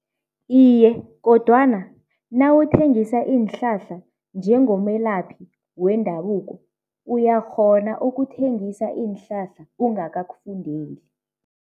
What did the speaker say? Iye, kodwana nawuthengisa iinhlahla njengomelaphi wendabuko uyakghona ukuthengisa iinhlahla ungakakufundeli.